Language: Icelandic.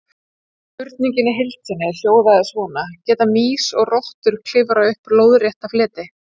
Spurningin í heild sinni hljóðaði svona: Geta mýs og rottur klifrað upp lóðrétta fleti?